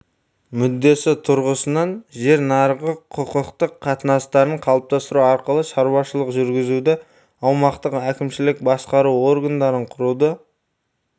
мүддесі тұрғысынан жер нарығы құқықтық қатынастарын қалыптастыру арқылы шаруашылық жүргізуді аумақтық әкімшілік басқару органдарын құруды